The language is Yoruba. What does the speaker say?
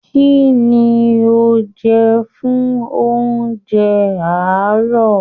Kínní o jẹ fún oúnjẹ àárọ̀?